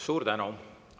Suur tänu!